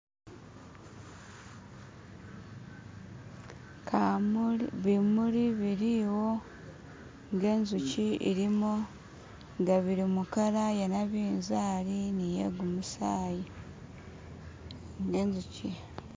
bimuli biliwo ngenzukyi ilimo nga bili mukala ya nabinzali niyegumusayi nezukyi